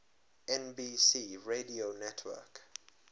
nbc radio network